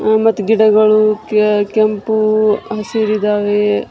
ಹ್ಹ ಮತ್ತ ಗಿಡಗಳು ಕೆ ಕೆಂಪು ಹಸಿರಿದ್ದಾವೆ .